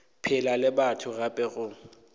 phela le batho gape go